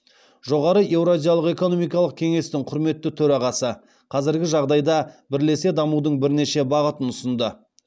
жоғары еуразиялық экономикалық кеңестің құрметті төрағасы қазіргі жағдайда бірлесе дамудың бірнеше бағытын ұсынды